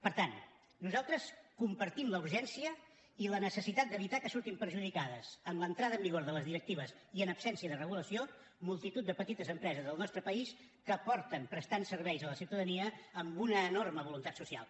per tant nosaltres compartim la urgència i la necessitat d’evitar que surtin perjudicades amb l’entrada en vigor de les directives i en absència de regulació multitud de petites empreses del nostre país que presten serveis a la ciutadania amb una enorme voluntat social